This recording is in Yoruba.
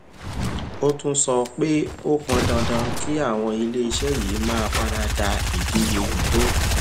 ó tún sọ pé ó pọn dandan kí àwọn iléeṣẹ yìí máa fara da ìdíje tó